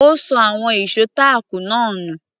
Ó ṣọ àwọn ìṣó táàkù náà nù.